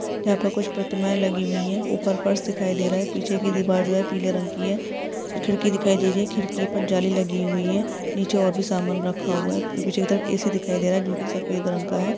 यहा पे कुछ प्रतिमाए लगी हुई है | ऊपर फर्श दिखाई दे रहा है | पीछे की दीवाल जो है पीले रंग की है खिरकी दिखाई दे रही है खिरकी पर जाली लगी हुई है नीचे और भी समान रखा हुआ है पीछे की तरफ ए_सी दिखाई दे रहा है | जोकि सफेद रंग का है।